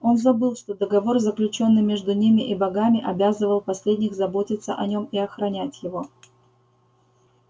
он забыл что договор заключённый между ним и богами обязывал последних заботиться о нём и охранять его